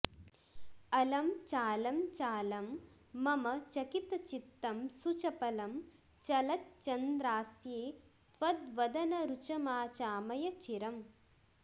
अलं चालं चालं मम चकितचित्तं सुचपलं चलच्चन्द्रास्ये त्वद्वदनरुचमाचामय चिरम्